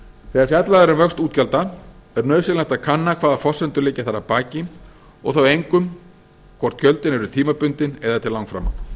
þegar fjallað er um vöxt útgjalda er nauðsynlegt að kanna hvaða forsendur liggja þar að baki og þá einkum hvort gjöldin eru tímabundin eða til langframa